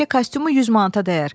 Təkcə kostyumu 100 manata dəyər.